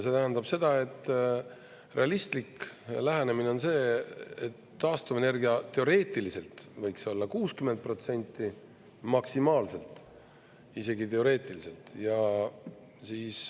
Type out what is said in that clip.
See tähendab seda, et realistlik lähenemine on see, et taastuvenergia teoreetiliselt võiks olla 60% protsenti maksimaalselt – isegi teoreetiliselt!